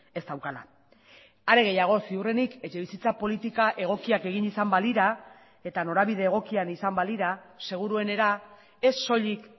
ez daukala are gehiago ziurrenik etxebizitza politika egokiak egin izan balira eta norabide egokian izan balira seguruenera ez soilik